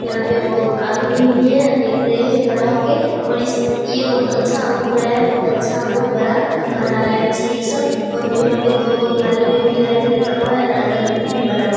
यहाँ पे बहुत आदमी भी है। देख रहें हैं खड़ा हो के और इस ये बहुत अच्छा उठ रहा है बहुत अच्छा बहुत बड़ा बना रहा है मिस्त्री सब और यहाँ पे दो गो थाली में मिठाई भी रखा हुआ है। अगरबत्ती भी बारा हुआ है।